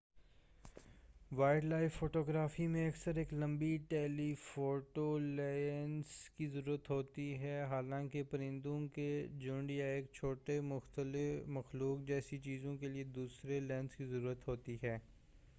wild life photography میں اکثر ایک لمبی ٹیلی فوٹو لینس کی ضرورت ہوتی ہے حالانکہ پرندوں کے جھنڈ یا ایک چھوٹی مخلوق جیسی چیزوں کے لئے دوسرے لینس کی ضرورت ہوتی ہے